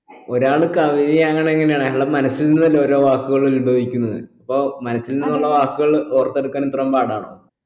ഒരാള് കവിത എങ്ങനെയാണ് അയാളെ മനസ്സിൽ നിന്ന് അല്ലെ ഓരോ വാക്കുകൾ ഉത്ഭവിക്കുന്നത് അപ്പൊ മനസ്സിൽ നിന്നുള്ള വാക്കുകൾ ഓർത്തെടുക്കാൻ ഇത്ര പാടാണോ